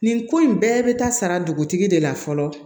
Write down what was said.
Nin ko in bɛɛ bɛ taa sara dugutigi de la fɔlɔ